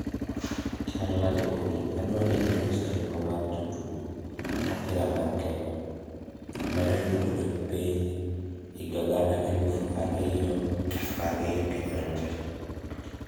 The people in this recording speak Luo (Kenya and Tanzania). chalnade olly adwani ilos chenro mar jotug opira mar kenya, mane otugone piny iga gana elufa riyo prariyo gi ang`wen